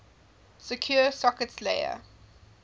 secure sockets layer